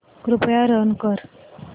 कृपया रन कर